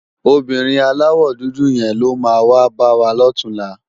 Óbìrín àláwò dúdú yén ló má wá bàwá lòtúnlá